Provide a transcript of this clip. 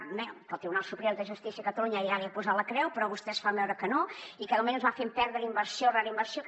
bé que el tribunal superior de justícia catalunya ja li ha posat la creu però vostès fan veure que no i que de moment ens va fent perdre inversió rere inversió que